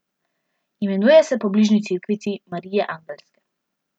Imenuje se po bližnji cerkvici Marije Angelske.